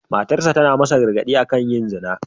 Matarsa ​​tana masa gargad'i akan yin zina.